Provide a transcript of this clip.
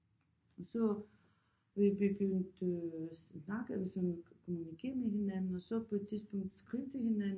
Og så vi begyndte at snakke sådan kommunikere med hinanden og så på et tidspunkt skrive til hinanden